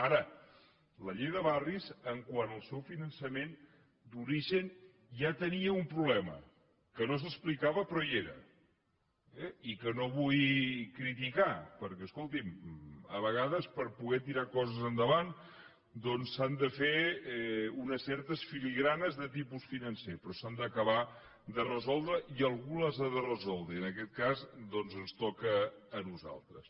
ara la llei de barris quant al seu finançament d’origen ja tenia un problema que no s’explicava però hi era eh i que no vull criticar perquè escolti’m a vegades per poder tirar coses endavant doncs s’han de fer unes certes filigranes de tipus financer però s’han d’acabar de resoldre i algú les ha de resoldre i en aquest cas ens toca a nosaltres